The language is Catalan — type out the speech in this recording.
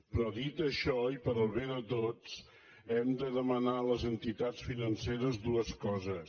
però dit això i pel bé de tots hem de demanar a les entitats financeres dues coses